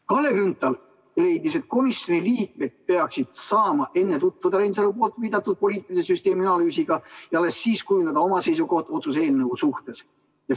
Kalle Grünthal leidis, et komisjoni liikmed peaksid saama enne tutvuda Reinsalu viidatud poliitilise süsteemi analüüsiga ja alles siis saaksid kujundada oma seisukoha otsuse eelnõu suhtes.